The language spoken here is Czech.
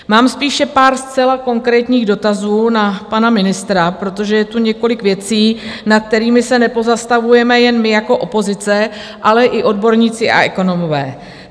Mám spíše pár zcela konkrétních dotazů na pana ministra, protože je tu několik věcí, nad kterými se nepozastavujeme jen my jako opozice, ale i odborníci a ekonomové.